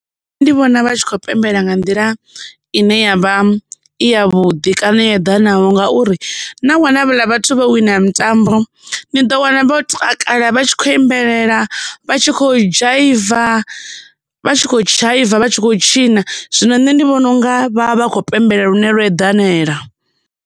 Nṋe ndi vhona vha tshi kho pembela nga nḓila ine yavha i ya vhuḓi kana yo eḓanaho ngauri na wana havhala vhathu vha wina mitambo ni ḓo wana vho takala vha tshi kho imbelelela vha tshi khou dzhaiva, vha tshi khou dzhaiva, vha tshi khou tshina zwino nṋe ndi vhona unga vha vha kho pembela lune lwo eḓanela.